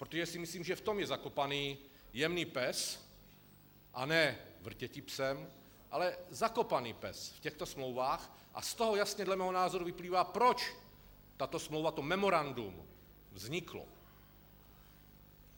Protože si myslím, že v tom je zakopaný jemný pes, a ne vrtěti psem, ale zakopaný pes v těchto smlouvách, a z toho jasně dle mého názoru vyplývá, proč tato smlouva, to memorandum vzniklo.